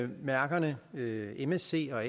mærkerne msc og